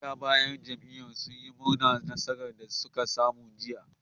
Magoya bayan jam'iyyar sun yi murnar nasarar da suka samu a jiya